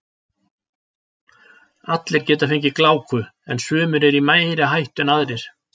Allir geta fengið gláku en sumir eru í meiri hættu en aðrir.